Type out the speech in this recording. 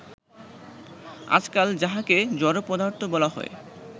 আজকাল যাহাকে জড় পদার্থ বলা হয়